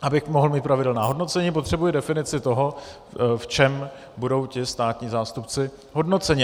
Abych mohl mít pravidelná hodnocení, potřebuji definici toho, v čem budou ti státní zástupci hodnoceni.